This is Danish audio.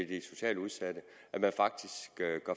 de socialt udsatte man gør faktisk